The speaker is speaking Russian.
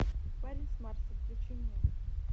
парень с марса включи мне